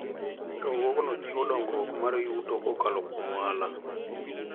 Riwruogno jiwo dongruok mar yuto kokalo kuom ohala.